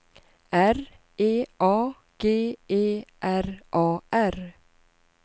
R E A G E R A R